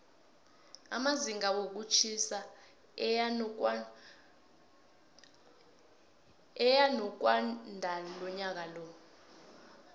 amazinga wokutjhisa eyanokwandalonyaka